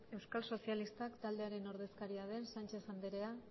euskal sozialistak taldearen ordezkaria den sánchez andrea